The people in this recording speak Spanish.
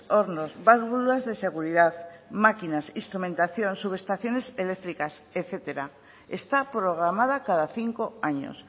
hornos válvulas de seguridad máquinas instrumentación subestaciones eléctricas etcétera está programada cada cinco años